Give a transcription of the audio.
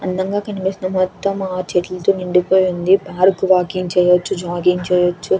అందంగా కనిపిస్తుందో మొత్తం ఆ చెట్లతో నిండిపోయి ఉంది పార్క్ వాకింగ్ చెయ్యచ్చు జాగింగ్ చెయ్యచ్చు.